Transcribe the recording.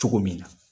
Cogo min na